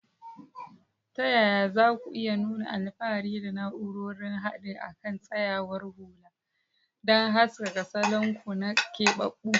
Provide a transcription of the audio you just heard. Ta yaya za ku iya nuna alfahari da na'urorin haɗi a kan tsayawar hula don haskaka salon ku na keɓaɓɓu?